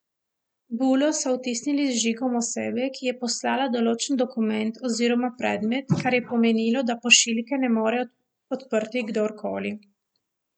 Bulo so vtisnili z žigom osebe, ki je poslala določen dokument oziroma predmet, kar je pomenilo, da pošiljke ne more odprti kdor koli.